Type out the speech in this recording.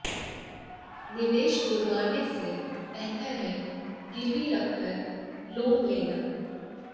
निवेश तुड़वाने से बेहतर है गिरवी रखकर लोन लेना